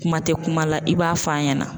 Kuma tɛ kuma la i b'a f'a ɲɛna.